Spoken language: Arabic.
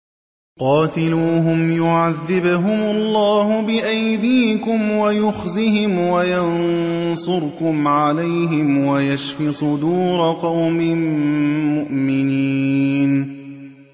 قَاتِلُوهُمْ يُعَذِّبْهُمُ اللَّهُ بِأَيْدِيكُمْ وَيُخْزِهِمْ وَيَنصُرْكُمْ عَلَيْهِمْ وَيَشْفِ صُدُورَ قَوْمٍ مُّؤْمِنِينَ